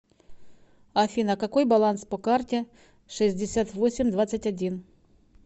афина какой баланс по карте шестьдесят восемь двадцать один